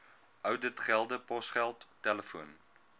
ouditgelde posgeld telefoon